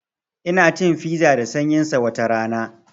Ina cin fiza da sanyin sa watarana